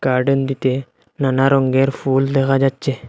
Garden টিতে নানা রঙ্গের ফুল দেখা যাচ্ছে।